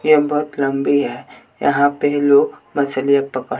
ये बहुत लंबी है यहां पे लोग मछलियां पकड़--